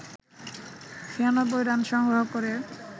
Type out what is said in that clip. ৯৬ run সংগ্রহ করে